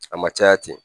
A ma caya ten